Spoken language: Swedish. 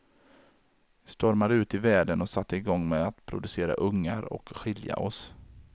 Vi stormade ut i världen och satte igång med att producera ungar och skilja oss.